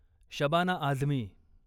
Shabana Azmi